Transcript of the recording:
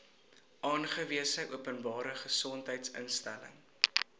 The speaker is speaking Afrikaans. aangewese openbare gesondheidsinstelling